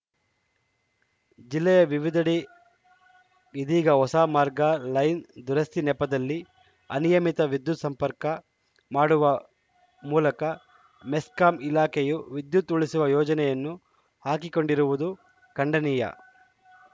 ಜಿಲ್ಲೆಯ ವಿವಿಧೆಡೆ ಇದೀಗ ಹೊಸ ಮಾರ್ಗ ಲೈನ್‌ ದುರಸ್ತಿ ನೆಪದಲ್ಲಿ ಅನಿಯಮಿತವಾಗಿ ವಿದ್ಯುತ್‌ ಸಂಪರ್ಕ ಮಾಡುವ ಮೂಲಕ ಮೆಸ್ಕಾಂ ಇಲಾಖೆಯು ವಿದ್ಯುತ್‌ ಉಳಿಸುವ ಯೋಜನೆಯನ್ನು ಹಾಕಿಕೊಂಡಿರುವುದು ಖಂಡನೀಯ